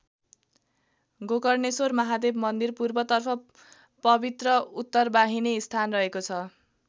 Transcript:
गोकर्णेश्वर महादेव मन्दिर पूर्वतर्फ पवित्र उत्तरवाहिनी स्थान रहेको छ।